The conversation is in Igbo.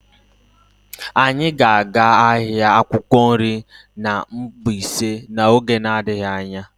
Anyị ga-aga ahịa akwukwo nri na Mbaise n'oge n'adịghị anya.